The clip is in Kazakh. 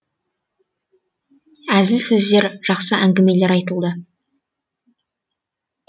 әзіл сөздер жақсы әңгімелер айтылды